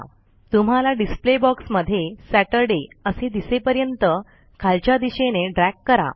तुम्हाला display box मध्ये Saturday असे दिसेपर्यंत खालच्या दिशेने ड्रॅग करा